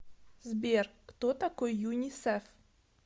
сбер кто такой юнисеф